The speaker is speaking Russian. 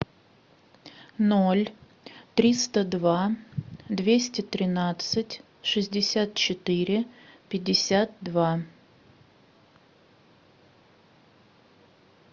ноль триста два двести тринадцать шестьдесят четыре пятьдесят два